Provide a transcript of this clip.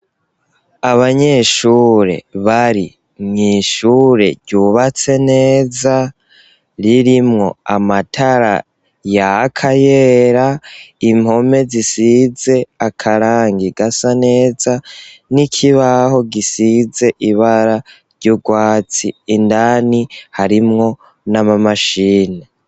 Abanyeshure bari mw'ishure ryubatse neza. Ririmwo amatara yaka yera impome zisize akarangi gasa neza n'ikibaho gisize ibara ry'urwatsi indani harimwo n'amamashini.